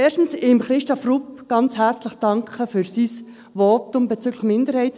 Ich möchte erstens Christoph Grupp ganz herzlich danken für sein Votum bezüglich Minderheiten.